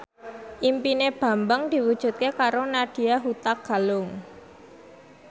impine Bambang diwujudke karo Nadya Hutagalung